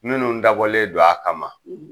Minnu dabɔlen don a kama